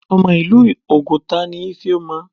Ọmọ ìlú oguta ni Ifeoma.